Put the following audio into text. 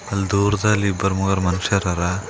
ಅಲ್ ದೂರದಲ್ಲಿ ಇಬ್ಬರ್ ಮೂವರ್ ಮನುಷ್ಯರ ಅರ.